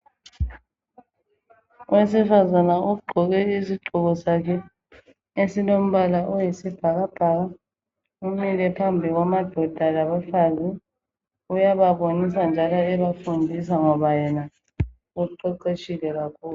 owesifazana ogqoke isigqoko zakhe esilombala oyisibhakabhaka umile phambi kwamadoda labafazi uyababonisa njalo ebafundisa ngoba yena uqeqetshile kakhulu